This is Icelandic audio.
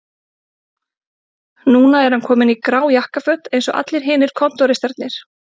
Núna er hann kominn í grá jakkaföt eins og allir hinir kontóristarnir